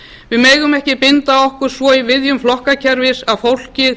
við megum ekki binda okkur svo í viðjum flokkakerfis að fólkið